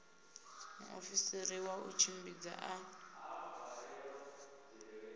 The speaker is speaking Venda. muofisiri wa u tshimbidza a